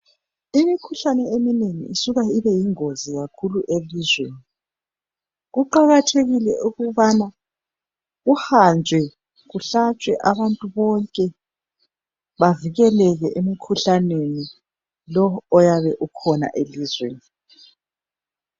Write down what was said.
Imikhuhlane eminengi isuka ibe yingozi kakhulu elizweni. Kuqakathekile ukubana kuhanjwe kuhlatshwe abantu bonke bavikeleke emkhuhlaneni lo oyabe ukhona elizweni.